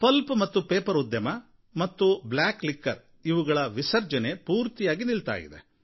pulp ಮತ್ತು paper ಉದ್ಯಮ ಅಥವಾ ಬ್ಲ್ಯಾಕ್ ಲಿಕ್ಕರ್ ಇವುಗಳ ವಿಸರ್ಜನೆ ಪೂರ್ತಿಯಾಗಿ ನಿಲ್ತಾ ಇದೆ